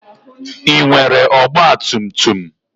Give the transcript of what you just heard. Ị nwere ọgba tum tum?